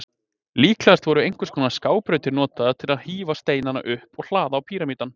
Líklegast voru einhvers konar skábrautir notaðar til að hífa steinana upp og hlaða á píramídann.